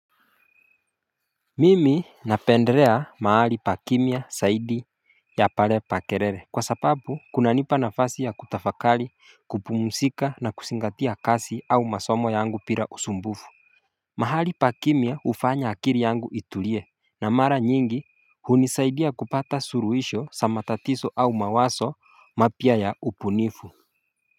Mimi napendrea mahali pa kimia saidi ya pale pa kerere Kwa sapabu kuna nipa nafasi ya kutafakali kupumusika na kusingatia kasi au masomo yangu pira usumbufu mahali pa kimia ufanya akiri yangu itulie na mara nyingi hunisaidia kupata suruhisho sa matatiso au mawaso mapia ya upunifu.